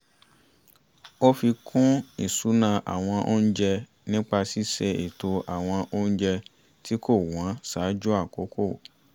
ó fi kún ìṣúná àwọn oúnjẹ nípa ṣíṣe ètò àwọn oúnjẹ tí kò wọ́n ṣáájú àkókò